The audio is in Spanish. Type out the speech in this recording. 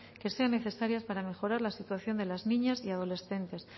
que sean necesarias para mejorar la situación de las niñas y adolescentes